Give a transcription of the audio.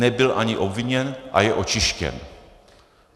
Nebyl ani obviněn a je očištěn.